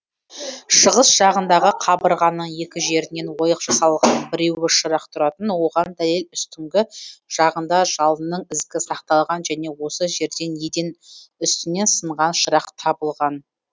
шығыс жағындағы қабырғаның екі жерінен ойық жасалған біреуі шырақ тұратын оған дәлел үстіңгі жағында жалынның ізгі сақталған және осы жерден еден үстінен сынған шырақ табылған